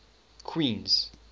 queens